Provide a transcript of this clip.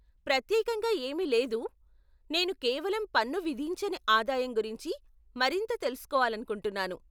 ప్రత్యేకంగా ఏమీ లేదు, నేను కేవలం పన్ను విధించని ఆదాయం గురించి మరింత తెలుసుకోవాలనుకుంటున్నాను.